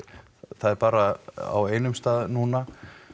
það er bara á einum stað núna